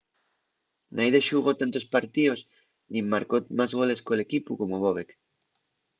naide xugó tantos partíos nin marcó más goles col equipu como bobek